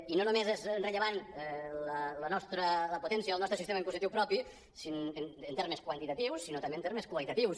i no només és rellevant la potència del nostre sistema impositiu propi en termes quantitatius sinó també en termes qualitatius